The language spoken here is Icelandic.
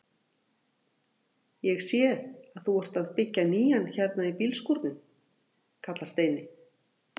Ég sé að þú ert að byggja nýjan hérna hjá bílskúrunum! kallar Steini.